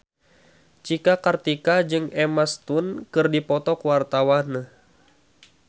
Cika Kartika jeung Emma Stone keur dipoto ku wartawan